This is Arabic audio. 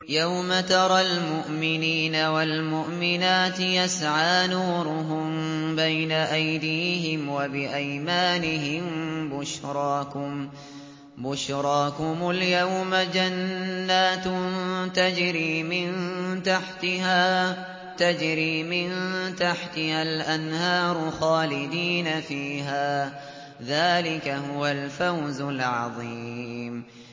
يَوْمَ تَرَى الْمُؤْمِنِينَ وَالْمُؤْمِنَاتِ يَسْعَىٰ نُورُهُم بَيْنَ أَيْدِيهِمْ وَبِأَيْمَانِهِم بُشْرَاكُمُ الْيَوْمَ جَنَّاتٌ تَجْرِي مِن تَحْتِهَا الْأَنْهَارُ خَالِدِينَ فِيهَا ۚ ذَٰلِكَ هُوَ الْفَوْزُ الْعَظِيمُ